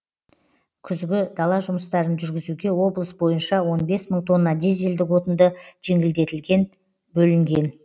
күзгі дала жұмыстарын жүргізуге облыс бойынша он бес мың тонна дизельдік отынды жеңілдетілген бөлінген